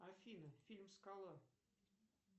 афина фильм скала